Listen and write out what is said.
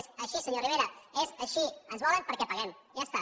és així senyor rivera és així ens volen perquè paguem i ja està